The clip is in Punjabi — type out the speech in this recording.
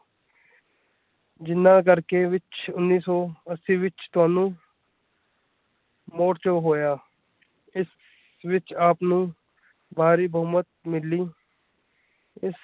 ਜਿਨ੍ਹਾਂ ਕਰਕੇ ਵਿੱਚ ਉੱਨ੍ਹੀ ਸੌ ਅੱਸੀ ਵਿੱਚ ਤੁਹਾਨੂੰ ਮੋਰਚਾ ਹੋਇਆ ਇਸ ਵਿੱਚ ਆਪ ਨੂੰ ਭਾਰੀ ਬਹੁਮਤ ਮਿਲੀ